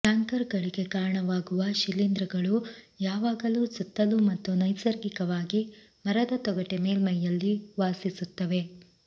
ಕ್ಯಾಂಕರ್ಗಳಿಗೆ ಕಾರಣವಾಗುವ ಶಿಲೀಂಧ್ರಗಳು ಯಾವಾಗಲೂ ಸುತ್ತಲೂ ಮತ್ತು ನೈಸರ್ಗಿಕವಾಗಿ ಮರದ ತೊಗಟೆ ಮೇಲ್ಮೈಯಲ್ಲಿ ವಾಸಿಸುತ್ತವೆ